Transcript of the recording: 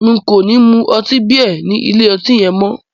N kò ní máa mu ọtí bíà ní ilé ọtí yẹn mọ́.